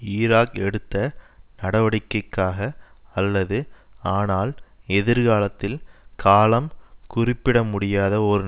Iraq எடுத்த நடவடிக்கைக்காக அல்லது ஆனால் எதிர்காலத்தில் காலம் குறிப்பிடமுடியாத ஒரு